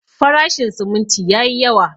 Farashin siminti yayi yawa.